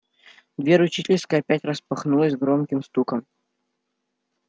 дверь учительской опять распахнулась с громким стуком